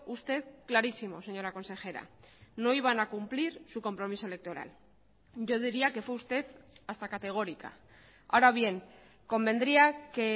usted clarísimo señora consejera no iban a cumplir su compromiso electoral yo diría que fue usted hasta categórica ahora bien convendría que